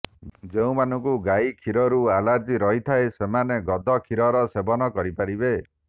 ଯେଉଁମାନଙ୍କୁ ଗାଇ କ୍ଷୀରରୁ ଆଲର୍ଜି ରହିଥାଏ ସେମନେ ଗଧ କ୍ଷୀରର ସେବନ କରିପାରିବେ